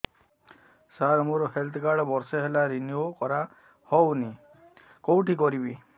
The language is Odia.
ସାର ମୋର ହେଲ୍ଥ କାର୍ଡ ବର୍ଷେ ହେଲା ରିନିଓ କରା ହଉନି କଉଠି କରିବି